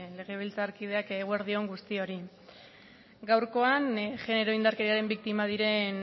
legebiltzarkideak eguerdi on guztiori gaurkoan genero indarkeriaren biktima diren